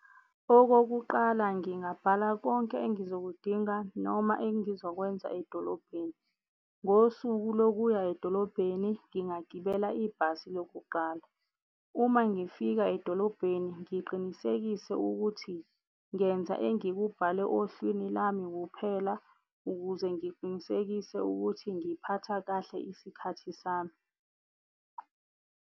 Okokuqala ngingabhala konke engizokudinga noma engizokwenza edolobheni. Ngosuku lokuya edolobheni ngingagibela ibhasi lokuqala. Uma ngifika edolobheni ngiqinisekise ukuthi ngenza engikubhale ohlwini lami kuphela, ukuze ngiqinisekise ukuthi ngiphatha kahle isikhathi sami.